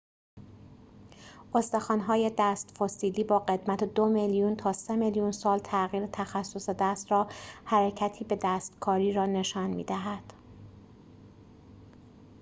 استخوان‌های دست فسیلی با قدمت دو میلیون تا سه میلیون سال تغییر تخصص دست را حرکتی به دستکاری را نشان می دهد